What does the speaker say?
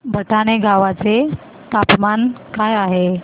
भटाणे गावाचे तापमान काय आहे